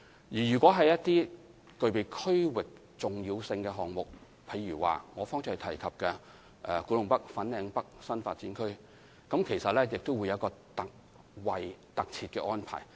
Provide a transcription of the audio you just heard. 對於一些具備區域重要性的項目，例如我剛才提及的古洞北/粉嶺北新發展區項目，當局也設有一個特設安排。